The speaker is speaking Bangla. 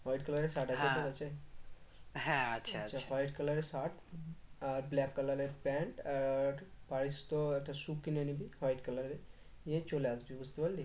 white color এর shirt হ্যাঁ হ্যাঁ আছে আছে আচ্ছা white color এর shirt আর black color এর pant আর white তোর একটা shoe কিনে নিবি white color এর নিয়ে চলে আসবে বুঝতে পারলি